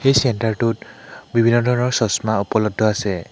এই চেন্টাৰ টোত বিভিন্ন ধৰণৰ চচমা উপলব্ধ আছে।